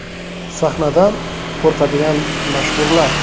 Sahnadan qo‘rqadigan mashhurlar.